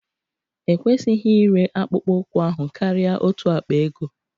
Ekwesịghị ịre akpụkpọ ụkwụ ahụ karịa otu akpa ego